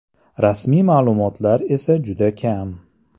Rasmiy ma’lumotlar esa juda kam.